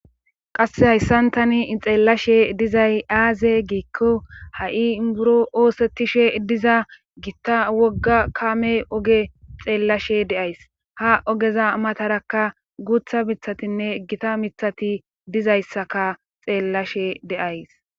Qasse hayssan tani xeellashe dizay aaze giikko ha'i buro oosettishe diza gitta wogga kamme oge xeellashe de'ays ha ogeza matarakka guuththa miiththatinne gita miiththati dizayssaka xeellashe de'ays